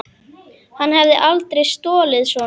Hann hefði aldrei stolið svona.